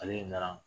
Ale nana